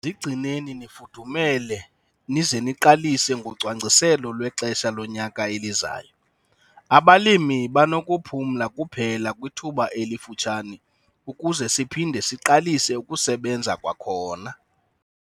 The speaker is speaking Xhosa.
Zigcineni nifudumele nize niqalise ngocwangciselo lwexesha lonyaka elizayo - abalimi banokuphumla kuphela kwithuba elifutshane ukuze siphinde siqalise ukusebenza kwakhona.